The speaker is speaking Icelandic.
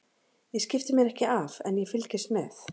Ég skipti mér ekki af en ég fylgist með.